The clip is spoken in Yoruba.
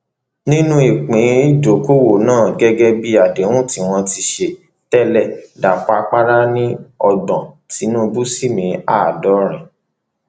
nínú ìpín ìdókóówo náà gẹgẹ bí àdéhùn tí wọn ti ṣe tẹlẹ dàpọ àpárá ni ọgbọn tìǹbù sì ní àádọrin